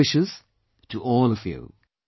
My good wishes to all of you